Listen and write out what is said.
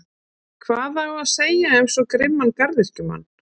Hvað á að segja um svo grimman garðyrkjumann?